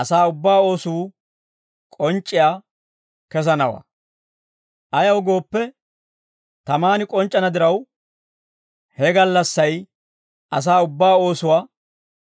asaa ubbaa oosuu k'onc'c'iyaa kesanawaa. Ayaw gooppe, tamaan k'onc'c'ana diraw, he gallassay asaa ubbaa oosuwaa